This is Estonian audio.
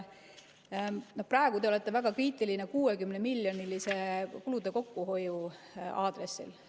Praegu te olete väga kriitiline kulude 60‑miljonilise kokkuhoiu aadressil.